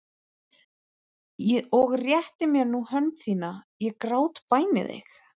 Og rétt mér nú hönd þína, ég grátbæni þig.